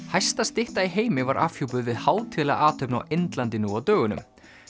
hæsta stytta í heimi var afhjúpuð við hátíðlega athöfn á Indlandi nú á dögunum